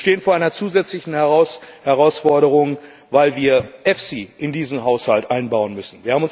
Wir stehen vor einer zusätzlichen Herausforderung, weil wir den EFSI in diesen Haushalt einbauen müssen.